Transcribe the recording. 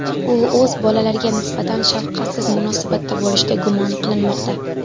U o‘z bolalariga nisbatan shafqatsiz munosabatda bo‘lishda gumon qilinmoqda.